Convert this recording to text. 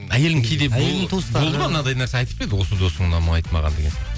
әйелің кейде болды ма мынандай нәрсе айтып пе еді осы досың ұнамайды деген сияқты